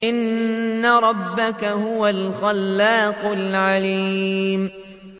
إِنَّ رَبَّكَ هُوَ الْخَلَّاقُ الْعَلِيمُ